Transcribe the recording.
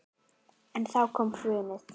En þá kom hrunið.